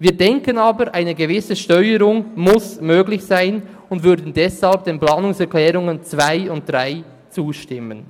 Wir denken aber, eine gewisse Steuerung müsse möglich sein und würden deshalb den Planungserklärungen 2 und 3 zustimmen.